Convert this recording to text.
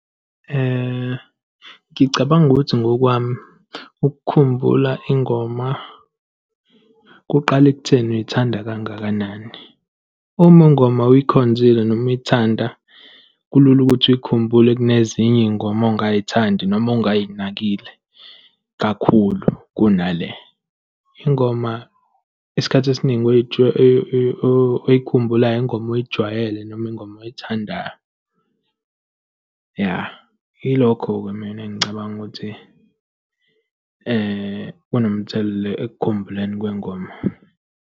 Ngicabanga ukuthi ngokwami ukukhumbula ingoma kuqala ekutheni uyithanda kangakanani. Uma ingoma uyikhonzile noma uyithanda, kulula ukuthi uy'khumbule kunezinye iy'ngoma ongay'thandi noma ongayinakile kakhulu kunale. Ingoma, isikhathi esiningi oyikhumbulayo, ingoma oyijwayele noma ingoma oyithandayo. Ya, ilokho-ke mina engicabanga ukuthi kunomthelela ekukhumbuleni kwengoma.